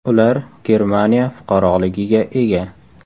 Ular Germaniya fuqaroligiga ega.